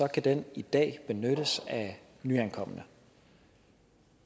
kan den i dag benyttes af nyankomne